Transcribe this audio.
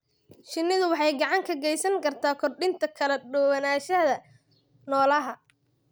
Shinnidu waxay gacan ka geysan kartaa kordhinta kala duwanaanshaha noolaha.